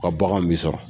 U ka baganw bi sɔrɔ